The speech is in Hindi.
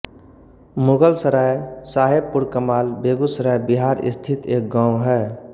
मुगलसराय साहेबपुरकमाल बेगूसराय बिहार स्थित एक गाँव है